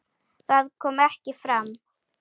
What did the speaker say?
Það kom ekki fram.